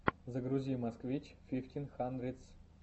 загрузи москвич фифтин хандридс